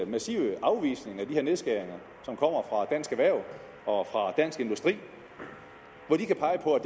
massive afvisning af de her nedskæringer som kommer fra dansk erhverv og fra dansk industri hvor de kan pege på at